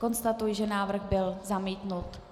Konstatuji, že návrh byl zamítnut.